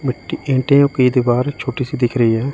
मिट्टी ईंटियों की दीवार छोटी सी दिख रही है।